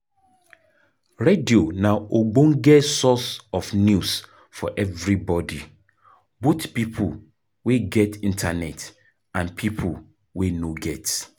Radio na ogbonge source of news for everybody, both pipo wey get internet and pipo wey no get